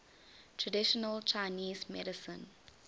traditional chinese medicine